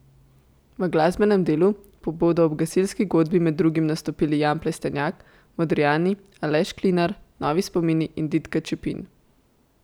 V glasbenem delu pa bodo ob gasilski godbi med drugimi nastopili Jan Plestenjak, Modrijani, Aleš Klinar, Novi spomini in Ditka Čepin.